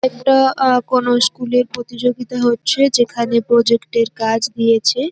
একটা কোন -এর প্রতিযোগিতা হচ্ছে যেখানে -এর কাজ দিয়েছে।